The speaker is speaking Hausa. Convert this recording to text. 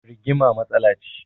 Rigima matsala ce